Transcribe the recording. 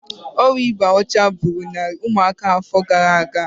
Ọrịa ịba ọcha n'anya gburu narị ụmụaka afọ gara aga